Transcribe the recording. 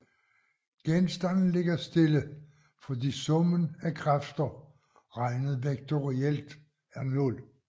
Genstanden ligger stille fordi summen af kræfter regnet vektorielt er nul